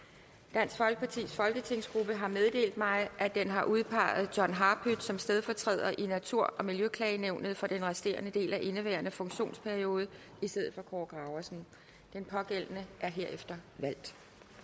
dansk folkepartis folketingsgruppe har meddelt mig at den har udpeget john harpøth som stedfortræder i natur og miljøklagenævnet for den resterende del af indeværende funktionsperiode i stedet for kaare graversen den pågældende er herefter valgt